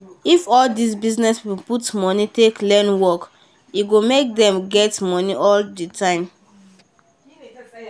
if all these business people put money take learn work e go make dem get money all the time